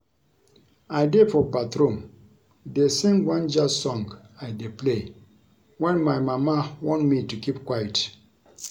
I dey for bathroom dey sing one Jazz song I dey play wen my mama warn me to keep quiet